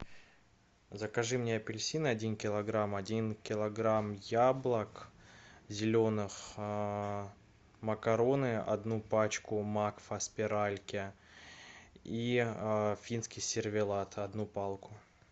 закажи мне апельсины один килограмм один килограмм яблок зеленых макароны одну пачку макфа спиральки и финский сервелат одну палку